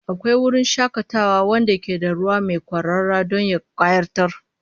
Akwai wurin shakatawa wanda ke da ruwa mai kwarara don ya kayatar